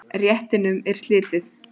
Réttinum er slitið.